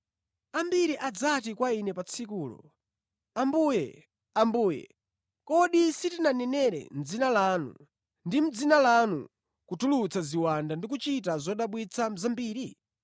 Ambiri adzati kwa Ine pa tsikulo, ‘Ambuye, Ambuye, kodi sitinkanenera mʼdzina lanu ndi mʼdzina lanunso tinkatulutsa ziwanda ndi kuchita zodabwitsa zambiri?’